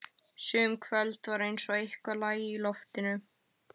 Sum kvöld var eins og eitthvað lægi í loftinu.